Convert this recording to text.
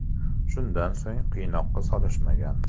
Shundan so‘ng qiynoqqa solishmagan.